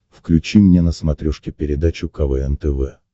включи мне на смотрешке передачу квн тв